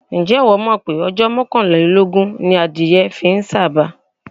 Ǹjẹ́ ìwọ́ mọ̀ pé ọjọ́ mọ́kàlélógún ni adìẹ fi ń sàba?